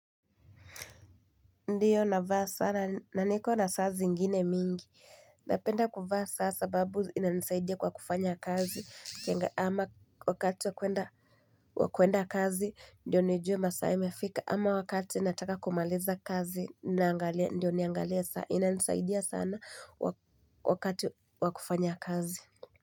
Ndio, navaa sana, na niko na saa zingine mingi. Napenda kuvaa saa sababu ina nisaidia kwa kufanya kazi. Ama wakati wa kuenda kazi, ndio nijue masaa imefika. Ama wakati nataka kumaliza kazi, ndio niangalie saa. Ina nisaidia sana wakati wakufanya kazi.